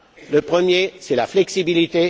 Le premier, c'est la flexibilité.